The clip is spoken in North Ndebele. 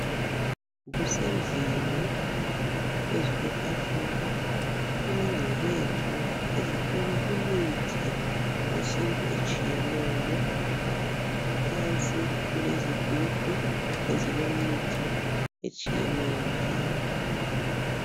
Kusendlini phezu kwetafula kulengcebethu ezithwele imithi yesintu etshiyeneyo ngaphansi kulezigubhu ezilemithi etshiyeneyo njalo.